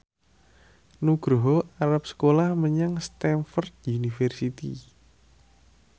Nugroho arep sekolah menyang Stamford University